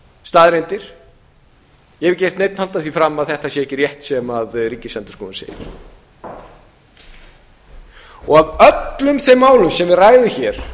staðreyndir ég hef ekki heyrt neinn halda því fram að þetta sé ekki rétt sem ríkisendurskoðun segir af öllum þeim málum sem við ræðum hér